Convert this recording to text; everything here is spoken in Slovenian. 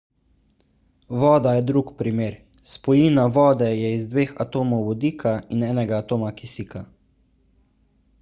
voda je drug primer spojina vode je iz dveh atomov vodika in enega atoma kisika